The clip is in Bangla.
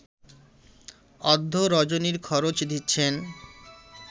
অদ্য রজনীর খরচ দিচ্ছেন